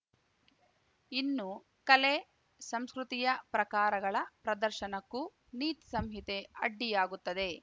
ಇನ್ನು ಕಲೆ ಸಂಸ್ಕೃತಿಯ ಪ್ರಕಾರಗಳ ಪ್ರದರ್ಶನಕ್ಕೂ ನೀತಿ ಸಂಹಿತೆ ಅಡ್ಡಿಯಾಗುತ್ತದೆ